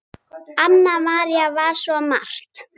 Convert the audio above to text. Anna María var svo margt.